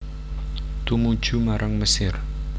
Tumuju marang Mesir